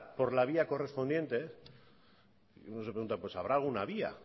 por la vía correspondiente uno se pregunta pues habrá alguna vía